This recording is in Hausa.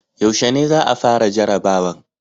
Yaushe ne za a fara jarabawan?